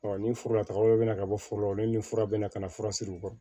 ni foro la tagaw bɛ na ka bɔ foro la o ni fura bɛ na ka na fura siri o kɔrɔ